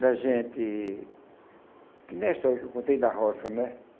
da gente... que nem a história que eu contei da roça, né?